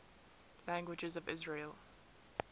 languages of israel